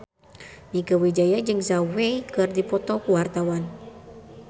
Mieke Wijaya jeung Zhao Wei keur dipoto ku wartawan